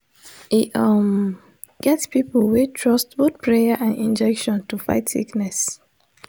e um get people wey trust both prayer and injection to fight sickness.